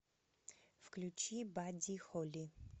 включи бадди холли